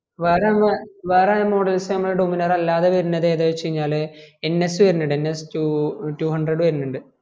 വേറെ അങ്ങ് വേറെ models നമ്മളെ dominar അല്ലാണ്ട് വരുന്നത് ഏത് വെച്ചാൽ ns വരുനിണ്ട് nstwohundred വരുനിണ്ട്